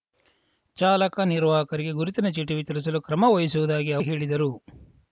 ಚಾಲಕ ನಿರ್ವಾಹಕರಿಗೆ ಗುರುತಿನ ಚೀಟಿ ವಿತರಿಸಲು ಕ್ರಮ ವಹಿಸುವುದಾಗಿ ಅವರು ಹೇಳಿದರು